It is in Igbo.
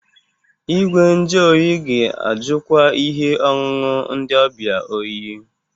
Igwe nju oyi ga-ajụkwa ihe ọṅụṅụ ndị ọbịa oyi.